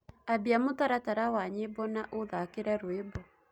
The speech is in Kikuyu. ambĩa mũtaratara wa nyĩmbo na uthakire rwĩmbo